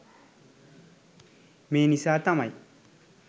මේ නිසා තමයි